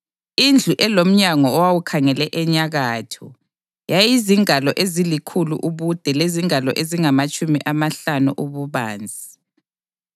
Indlu elomnyango owawukhangele enyakatho yayizingalo ezilikhulu ubude lezingalo ezingamatshumi amahlanu ububanzi.